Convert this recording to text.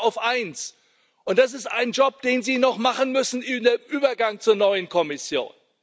Ich warte auf eines, und das ist ein Job, den Sie noch machen müssen in dem Übergang zur neuen Kommission.